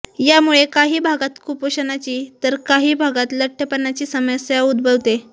यामुळे काही भागात कुपोषणाची तर काही भागात लठ्ठपणाची समस्या उद्भवते